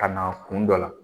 Ka na kun dɔ la